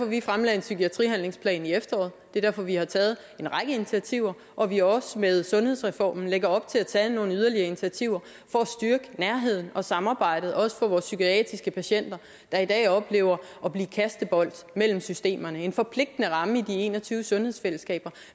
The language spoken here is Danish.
vi fremlagde en psykiatrihandlingsplan i efteråret og det er derfor vi har taget en række initiativer og at vi også med sundhedsreformen lægger op til at tage nogle yderligere initiativer for at styrke nærheden og samarbejdet også for vores psykiatriske patienter der i dag oplever at blive kastebold mellem systemerne en forpligtende ramme i de en og tyve sundhedsfællesskaber